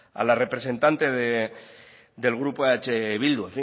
a la representante del grupo eh bildu